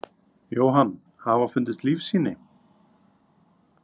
Jóhann: Hafa fundist lífssýni?